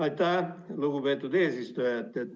Aitäh, lugupeetud eesistuja!